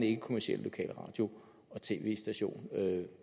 ikkekommercielle lokalradio og tv stationer